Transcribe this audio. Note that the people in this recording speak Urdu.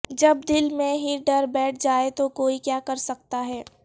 جب دل میں ہی ڈر بیٹھ جائے تو کوئی کیا کرسکتا ہے